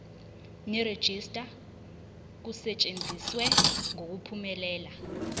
nerejista kusetshenziswe ngokuphumelela